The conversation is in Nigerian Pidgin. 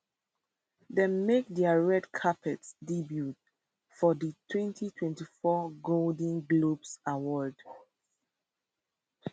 dem make dia red carpet debut for di 2024 golden globes awards